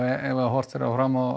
ef horft er fram á